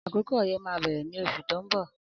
Akókó ọyẹ mà bẹrẹ ni óṣú tó n bọ